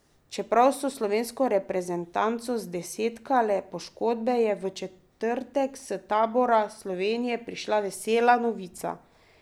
Čeprav so slovensko reprezentanco zdesetkale poškodbe, je v četrtek s tabora Slovenije prišla vesela novica.